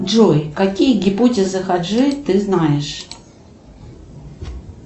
джой какие гипотезы хаджи ты знаешь